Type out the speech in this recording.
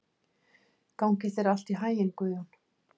Gangi þér allt í haginn, Guðjón.